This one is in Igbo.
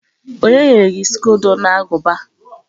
O nyere gi skodo na aguba?